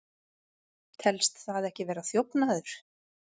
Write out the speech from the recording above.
Telst það ekki vera þjófnaður?